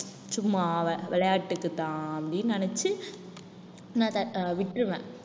சும்மா அவ~ விளையாட்டுக்கு தான் அப்டின்னு நெனச்சு நான் த~ விட்டிருவேன்